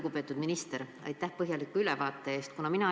Lugupeetud minister, aitäh põhjaliku ülevaate eest!